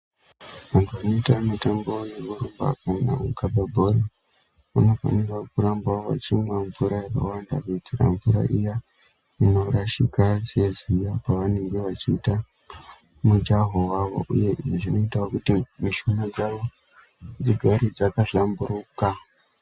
Vantu vanoita mutambo yekurumba kana kukaba bhora vanofanira kuramba vechimwa mvura yakawanda kuitira mvura iya inorashika seziya pavanenge vechiita mujaho yavo uye zvinoita kuti mishuna dzavo dzigare dzaka hlamburuka